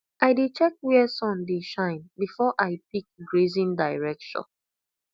i dey check where sun dey shine before i pick grazing direction